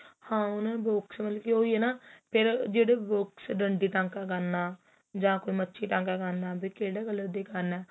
ਉਹ ਹੀ ਏ ਫ਼ੇਰ ਜਿਹੜੇ ਡੰਡੀ ਟਾਂਕਾ ਕਰਨਾ ਜਾਂ ਕੋਈ ਮੱਛੀ ਟਾਕਾ ਕਰਨਾ ਵੀ ਕਿਹੜੇ colour ਦਾ ਕਰਨਾ